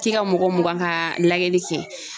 Ti ka mɔgɔ mugan ka lajɛli kɛ.